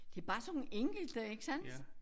Det er bare sådan nogle enkelte ikke sandt?